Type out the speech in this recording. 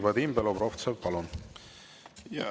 Vadim Belobrovtsev, palun!